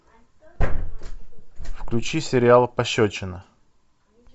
включи сериал пощечина